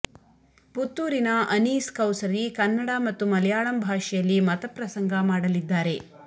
ಪುತ್ತೂರಿನ ಅನೀಸ್ ಕೌಸರಿ ಕನ್ನಡ ಮತ್ತು ಮಲಯಾಳಂ ಭಾಷೆಯಲ್ಲಿ ಮತಪ್ರಸಂಗ ಮಾಡಲಿದ್ದಾರೆ